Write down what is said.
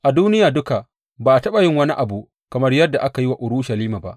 A duniya duka ba a taɓa yin wani abu kamar yadda aka yi wa Urushalima ba.